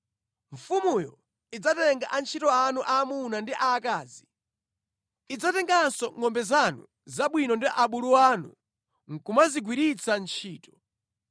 Mfumuyo idzatenga antchito anu aamuna ndi aakazi. Idzatenganso ngʼombe zanu zabwino ndi abulu anu nʼkumazingwiritsa ntchito.